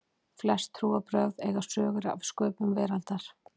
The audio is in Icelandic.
Flest trúarbrögð eiga sögur af sköpun veraldarinnar.